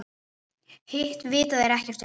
Hitt vita þeir ekkert um.